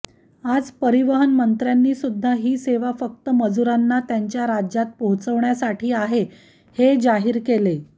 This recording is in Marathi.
आज परिवहन मंत्र्यांनी सुद्धा ही सेवा फक्त मजुरांना त्यांच्या राज्यात पोहोचवण्यासाठी आहे हे जाहीर केले